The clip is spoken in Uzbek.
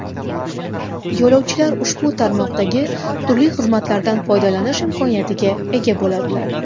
Yo‘lovchilar ushbu tarmoqdagi turli xizmatlardan foydalanish imkoniyatiga ega bo‘ladilar.